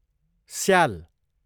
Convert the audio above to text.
स्याल